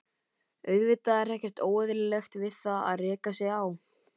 Auðvitað er ekkert óeðlilegt við það að reka sig á.